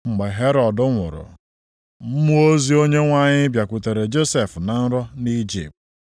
Mgbe Herọd nwụrụ, mmụọ ozi Onyenwe anyị bịakwutere Josef na nrọ nʼIjipt